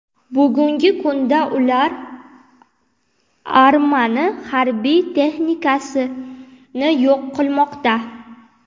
Bugungi kunda ular armani harbiy texnikasini yo‘q qilmoqda.